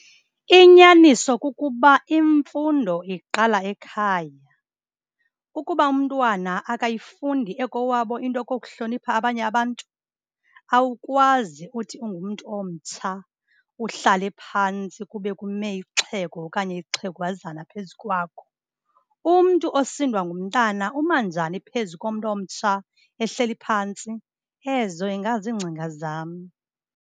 Inyaniso kukuba imfundo iqala ekhaya. Ukuba umntwana akayifundi ekowabo into yokokuhlonipha abanye abantu, awukwazi uthi ungumntu omtsha uhlale phantsi kube kume ixhego okanye ixhegwazana phezu kwakho. Umntu osindwa ngumntana, uma njani phezu komntu omtsha ehleli phantsi? Ezo ingaziingcinga zam.